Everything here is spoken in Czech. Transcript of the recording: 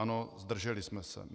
Ano, zdrželi jsme se.